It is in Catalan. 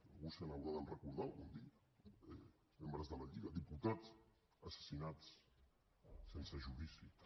algú se n’haurà de recordar algun dia dels membres de la lliga diputats assassinats sense judici també